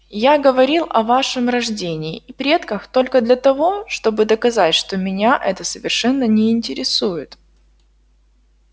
я говорил о вашем рождении и предках только для того чтобы доказать что меня это совершенно не интересует